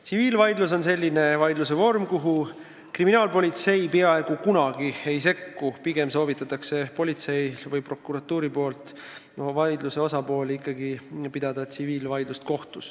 Tsiviilvaidlus on selline vaidluse vorm, kuhu kriminaalpolitsei peaaegu kunagi ei sekku ning politsei ja prokuratuur eelistavadki, et rahalise vaidluse osapooled peavad kohtus tsiviilvaidlust.